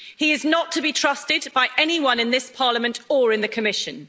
He is not to be trusted by anyone in this Parliament or in the Commission.